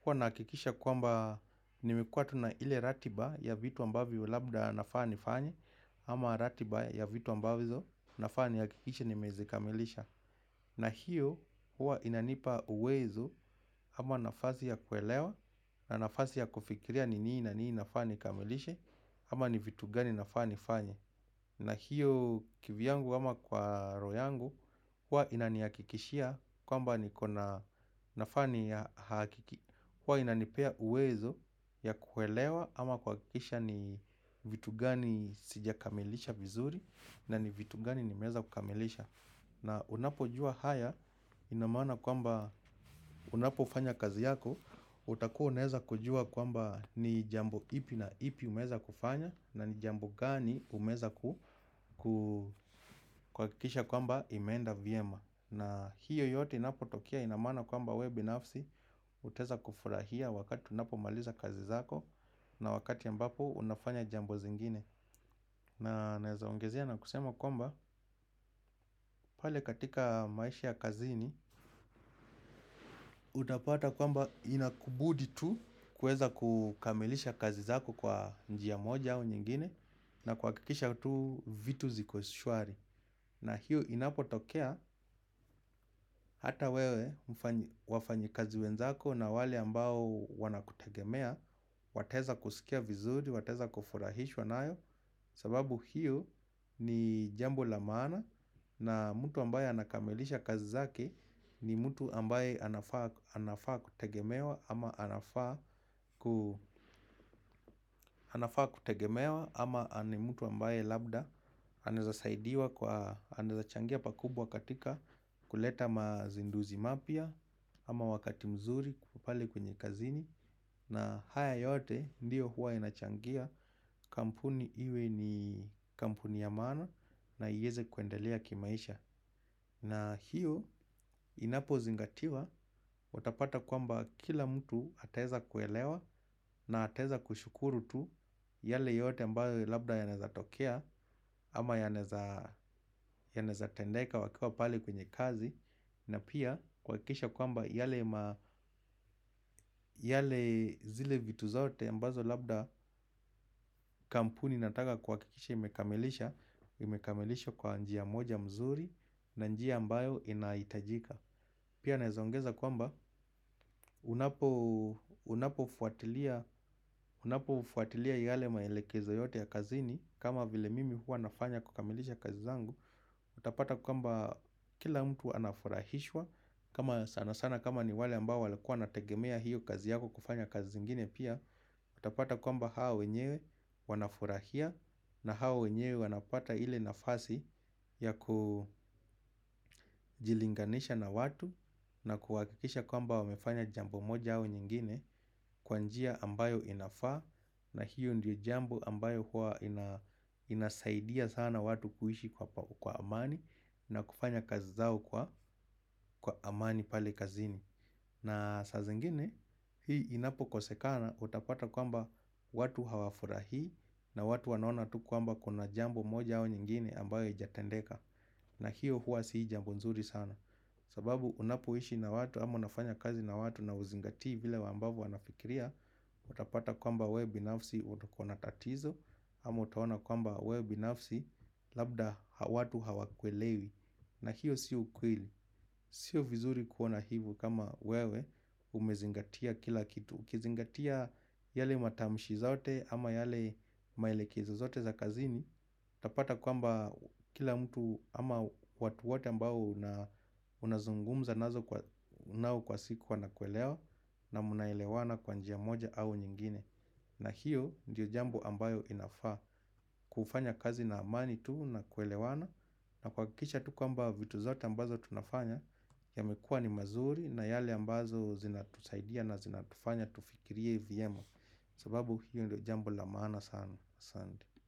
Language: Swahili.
huwa nahakikisha kwamba, nimekuwa tu na ile ratiba ya vitu ambavyo labda nafa nifanyew, ama ratiba ya vitu ambazo, nafaa niakikishe ni mezikamilisha. Na hiyo, huwa inanipa uwezo, ama nafasi ya kuelewa na nafasi ya kufikiria ni nini na nini nafaa ni kamilishe ama ni vitu gani nafaa ni fanye. Na hiyo kivyangu ama kwa roho yangu huwa inaniakikishia kwamba niko na nafa ni huwa inanipea uwezo ya kuelewa ama kuwakikisha ni vitu gani sijakamilisha vizuri. Na ni vitu gani nimeweza kukamilisha na unapo jua haya inamaana kwamba unapo ufanya kazi yako utakuwa unaeza kujua kwamba ni jambo ipi na ipi umeweza kufanya. Na ni jambo gani umeza kukuakikisha kwamba imeenda vyema. Na hiyo yote inapotokea ina maana kwamba wewe binafsi utaeza kufurahia wakati unapo maliza kazi zako. Na wakati ambapo unafanya jambo zingine. Na naezaongezia na kusema kwamba pale katika maisha ya kazini. Utapata kwamba inakubudi tu kuweza kukamilisha kazi zako kwa njia moja au nyingine. Na kuwakikisha tu vitu ziko shwari. Na hiyo inapo tokea hata wewe wafanyi kazi wenzako na wale ambao wanakutegemea wataeza kusikia vizuri, wataeza kufurahishwa nayo. Sababu hiyo ni jambo la maana. Na mtu ambaye anakamilisha kazi zake ni mtu ambaye anafaa kutegemewa ama anafaa kutegemewa ama ni mtu ambaye labda anaezasaidiwa kwa anaezachangia pakubwa katika kuleta mazinduzi mapya ama wakati mzuri pale kwenye kazini. Na haya yote ndiyo huwa inachangia kampuni iwe ni kampuni ya maana na ieze kuendelea kimaisha. Na hiyo inapozingatiwa, watapata kwamba kila mtu ataeza kuelewa na ataeza kushukuru tu yale yote ambayo labda yanaezatokea ama yanaeza tendeika wakiwa pale kwenye kazi. Na pia kuwakikisha kwamba yale zile vitu zaote ambazo labda kampuni inataka kuwakikisha imekamilisha. Imekamilisha kwa njia moja mzuri na njia ambayo inaitajika. Pia naezaongeza kwamba unapo fuatilia yale maelekezo yote ya kazini kama vile mimi huwa nafanya kukamilisha kazi zangu. Utapata kwamba kila mtu anafurahishwa kama sana sana kama ni wale ambao walikuwa wanategemea hiyo kazi yako kufanya kazi zingine pia. Utapata kwamba hawa wenyewe wanafurahia. Na hawa wenyewe wanapata ile nafasi ya kujilinganisha na watu. Na kuwakikisha kwamba wamefanya jambo moja au nyingine kwa njia ambayo inafaa na hiyo ndio jambo ambayo huwa inasaidia sana watu kuishi kwa amani. Na kufanya kazi zao kwa amani pale kazini. Na sa zingine hii inapokosekana utapata kwamba watu hawafurahi. Na watu wanaona tu kwamba kuna jambo moja au nyingine ambayo ijatendeka. Na hiyo huwa si jambo nzuri sana. Sababu unapoishi na watu ama unafanya kazi na watu na uzingati vile ambavo wanafikiria. Utapata kwamba we binafsi uko na tatizo. Ama utaona kwamba we binafsi labda watu hawakuelewi. Na hiyo si ukweli, siyo vizuri kuona hivo kama wewe umezingatia kila kitu. Ukizingatia yale matamshi zaote ama yale maelekezo za kazini utapata kwamba kila mtu ama watu wote ambao unazungumza nazo nao kwa siku wanakuelewa na mnaelewana kwa njia moja au nyingine. Na hiyo ndiyo jambo ambayo inafaa kufanya kazi na amani tu na kuelewana. Na kuwakikisha tu kwamba vitu zote ambazo tunafanya yamekua ni mazuri na yale ambazo zinatusaidia na zinatufanya tufikirie Vyema. Sababu hiyo ndo jambo la maana sana.